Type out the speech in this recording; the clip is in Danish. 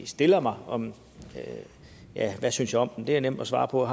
stiller mig om hvad jeg synes om dem det er nemt at svare på og